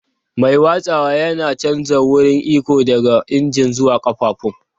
Mai watsawa yana canja wurin iko daga injin zuwa ƙafafun.